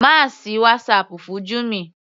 Má sì WhatsApp fún Jummy.